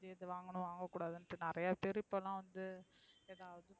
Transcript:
வாங்கணும் வங்ககுடத்னுடு நிறைய பேர் இப்ப ல வந்து.